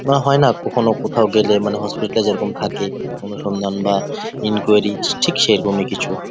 বা হয় না কখনো কোথাও গেলে মানে হসপিটাল এ যেরকম থাকে অনুসন্ধান বা এনকোয়েরি ঠিক সেরকমই কিছু।